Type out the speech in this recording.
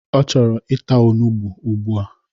Ọ chọrọ ịta onugbo ugbua!